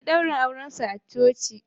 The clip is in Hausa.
Sun yi ɗaurin aurensu a coci